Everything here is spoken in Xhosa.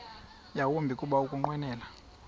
yawumbi kuba ukunqwenela